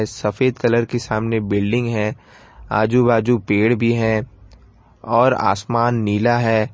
सफेद कलर की सामने बिल्डिंग है आजू बाजू पेड़ भी है और आसमान नीला है।